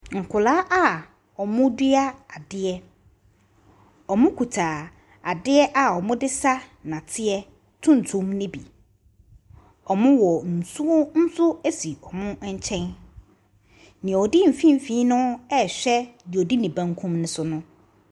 Nkwadaa ɔmɔ dua adeɛ ɔmɔ kuta adeɛ ɔmɔ di sa dɔteɛ tuntum no bi ɔmɔ wɔ nsuo nso si ɔmɔ kyɛn neɛ ɔdi mfimfini no ɛhwɛ neɛ ɔdi ne benkum no so.